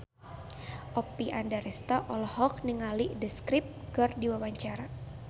Oppie Andaresta olohok ningali The Script keur diwawancara